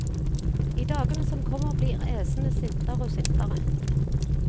I dagene som kommer blir æsene sintere og sintere.